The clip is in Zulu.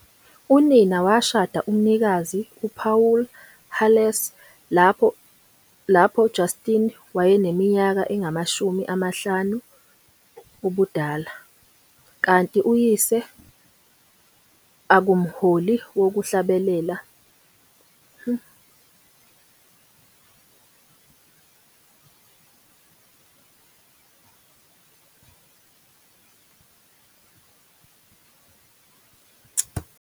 Unina washada umnikazi uPawulu Harless lapho Justin wayeneminyaka engamashumi 5 ubudala, kanti uyise, a Kumholi wokuhlabelela at esontweni lamaBaptist, saba nezingane ezimbili, kanye nemfati wakhe wesibili, uLisa Perry.